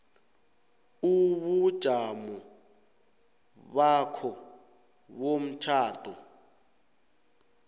ubujamo bakho bomtjhado